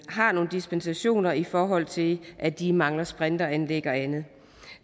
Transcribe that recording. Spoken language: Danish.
har nogle dispensationer i forhold til at de mangler sprinkleranlæg og andet